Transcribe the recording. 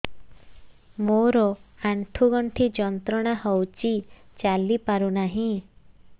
ମୋରୋ ଆଣ୍ଠୁଗଣ୍ଠି ଯନ୍ତ୍ରଣା ହଉଚି ଚାଲିପାରୁନାହିଁ